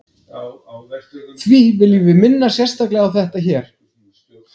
Því viljum við minna sérstaklega á þetta hér.